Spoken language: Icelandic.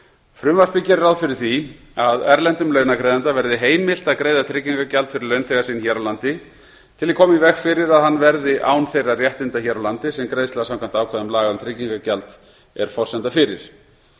frumvarpið gerir ráð fyrir því að erlendum launagreiðanda verði heimilt að greiða tryggingagjald fyrir launþega sinn hér á landi til að koma í veg fyrir að hann verði án þeirra réttinda hér á landi sem greiðsla samkvæmt ákvæðum laga um tryggingagjald er forsenda fyrir